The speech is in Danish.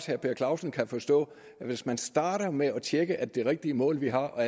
herre per clausen kan forstå at hvis man starter med at tjekke er det rigtige mål vi har og